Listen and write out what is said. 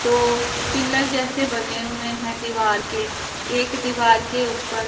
दो पिलर जैसे बने हुए हैं दीवार के एक दीवार के ऊपर--